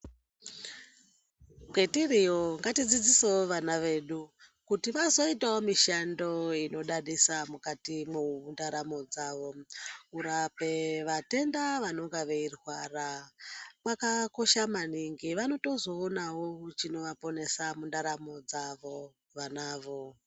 Kwetiriyo ngatidzidzisewo vana vedu kuti vazoitawo mishando inodadisa mukatimwo mwendaramu dzavo kurape vatenda vanonga veirwara kwakakosha maningi vanotozoonawo chinovaponesa mundaramo dzavo vanavo.